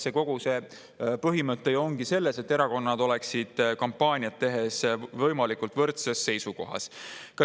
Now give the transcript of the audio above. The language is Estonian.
Kogu see põhimõte ongi ju selles, et erakonnad oleksid kampaaniat tehes võimalikult võrdses seisus.